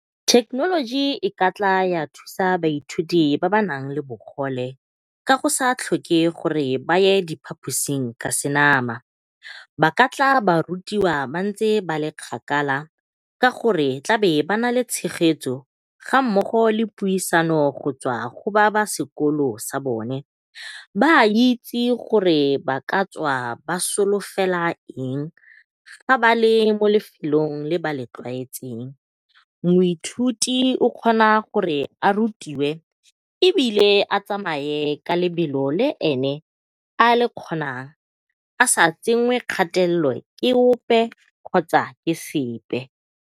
Technology e ka tla ya thusa baithuti ba ba nang le bogole ka go sa tlhoke gore ba ye diphatusing ka senama, ba ka tla ba rutiwa ba ntse ba le kgakala ka gore ba tla be ba nale tshegetso ga mmogo le puisano go tswa go ba ba sekolo sa bone. Ba itse gore ba ka tswa ba solofela eng fa ba le mo lefelong le ba le tlwaetseng. Moithuti o kgona gore a rutiwe ebile a tsamaye ka lebelo le ene a le kgonang a sa tsenngwe kgatelelo ke ope kgotsa ke sepe.